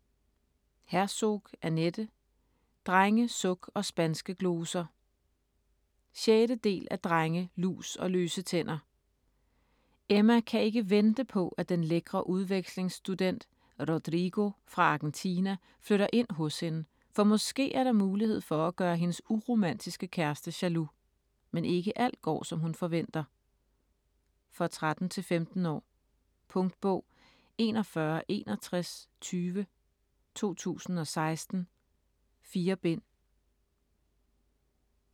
Herzog, Annette: Drenge, suk & spanske gloser 6. del af Drenge, lus & løse tænder. Emma kan ikke vente på at den lækre udvekslingsstudent Rodrigo fra Argentina flytter ind hos hende, for måske er der mulighed for at gøre hendes uromantiske kæreste jaloux. Men ikke alt går, som hun forventer. For 13-15 år. Punktbog 416120 2016. 4 bind.